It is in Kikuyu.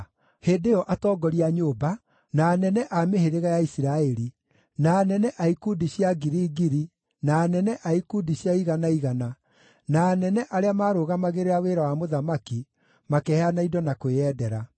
Hĩndĩ ĩyo atongoria a nyũmba, na anene a mĩhĩrĩga ya Isiraeli, na anene a ikundi cia ngiri ngiri na anene a ikundi cia igana igana na anene arĩa maarũgamagĩrĩra wĩra wa mũthamaki makĩheana indo na kwĩyendera.